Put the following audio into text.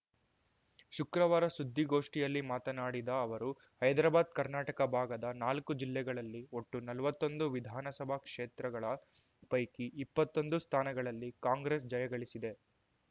ಶುಕ್ರವಾರ ಸುದ್ದಿಗೋಷ್ಠಿಯಲ್ಲಿ ಮಾತನಾಡಿದ ಅವರು ಹೈದ್ರಾಬಾದ್ ಕರ್ನಾಟಕ ಭಾಗದ ನಾಲ್ಕು ಜಿಲ್ಲೆಗಳಲ್ಲಿ ಒಟ್ಟು ನಲ್ವತ್ತೊಂದು ವಿಧಾನಸಭಾ ಕ್ಷೇತ್ರಗಳ ಪೈಕಿ ಇಪ್ಪತ್ತೊಂದು ಸ್ಥಾನಗಳಲ್ಲಿ ಕಾಂಗ್ರೆಸ್‌ ಜಯಗಳಿಸಿದೆ